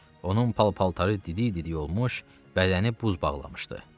Onun pal-paltarı didi-didi olmuş, bədəni buz bağlamışdı.